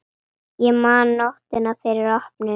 Ég man nóttina fyrir opnun.